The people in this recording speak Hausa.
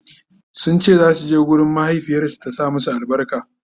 sunce zasu je gurin mahaifiyarsu ta sa musu albarka